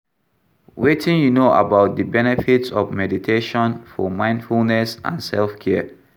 Wetin you know about di benefits of meditation for mindfulness and self-care?